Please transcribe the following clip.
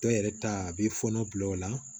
Dɔw yɛrɛ ta a b'i fɔɔnɔ bila o la